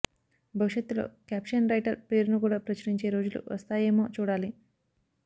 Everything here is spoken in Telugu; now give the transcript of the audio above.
భవిష్యత్తులో క్యాప్షన్ రైటర్ పేరును కూడా ప్రచురించే రోజులు వస్తాయేమో చూడాలి